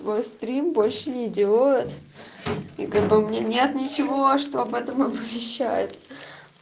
острим больше не делает и как бы мне нет ничего что об этом повещать